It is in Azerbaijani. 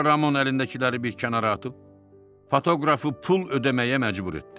Sonra Ramon əlindəkiləri bir kənara atıb fotoqrafı pul ödəməyə məcbur etdi.